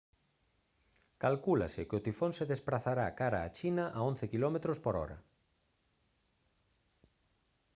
calcúlase que o tifón se desprazará cara a china a 11 kph